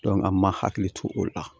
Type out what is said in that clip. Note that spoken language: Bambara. an ma hakili to o la